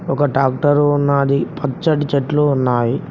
ఒక ట్రాక్టర్ ఉన్నాది పచ్చటీ చెట్లు ఉన్నాయి.